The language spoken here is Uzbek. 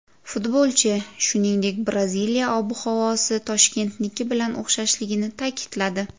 Futbolchi, shuningdek, Braziliya ob-havosi Toshkentniki bilan o‘xshashligini ta’kidladi.